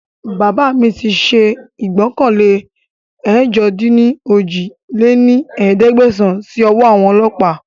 Bàbá mi ṣe ìgbọ́kànlé ẹ̀jọ-dín-ní-ojì lé ní ẹ̀ẹ́dẹ́gbẹ́sán síí ọwọ́ àwọn ọlọ́pa